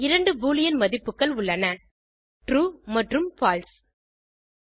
இரண்டு பூலியன் மதிப்புகள் உள்ளன ட்ரூ மற்றும் பால்சே